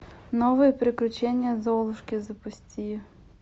новые приключения золушки запусти